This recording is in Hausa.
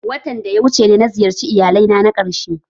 Watan da ya wuce ne na ziyarci iyalai na karshe